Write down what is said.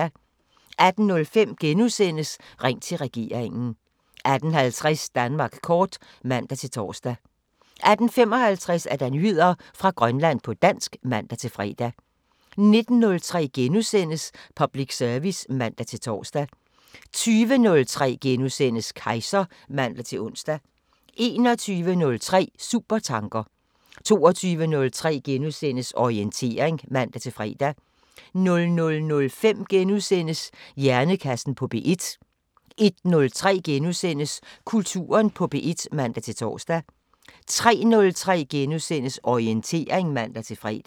18:05: Ring til regeringen * 18:50: Danmark kort (man-tor) 18:55: Nyheder fra Grønland på dansk (man-fre) 19:03: Public service *(man-tor) 20:03: Kejser *(man-ons) 21:03: Supertanker 22:03: Orientering *(man-fre) 00:05: Hjernekassen på P1 * 01:03: Kulturen på P1 *(man-tor) 03:03: Orientering *(man-fre)